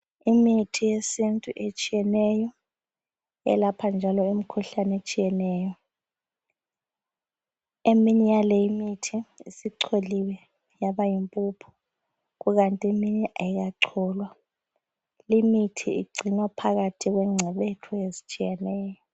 Imithi yesintu etshiyeneyo elapha, njalo imikhuhlane etshiyeneyo eminye yale imithi icholiwe yabayimpuphu, ikanti eminye ayikacholwa. Limithi igcinwa phakathi kwengcebethu ezitshiyeneyo.